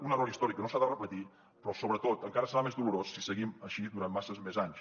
un error històric que no s’ha de repetir però sobretot encara serà més dolorós si seguim així durant masses més anys